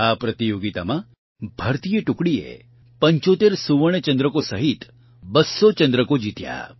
આ પ્રતિયોગિતામાં ભારતીય ટુકડીએ ૭૫ સુવર્ણ ચંદ્રકો સહિત ૨૦૦ ચંદ્રકો જીત્યા